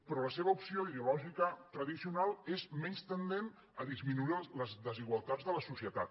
però la seva opció ideològica tradicional és menys tendint a disminuir les desigualtats de la societat